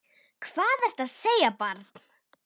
Hvað ertu að segja, barn?